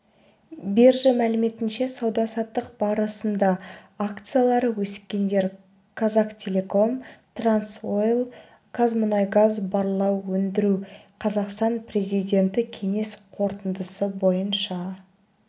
биржа мәліметінше сауда-саттық барысында акциялары өскендер қазақтелеком қазтрансойл қазмунайгаз барлау өндіру қазақстан президенті кеңес қорытындысы бойынша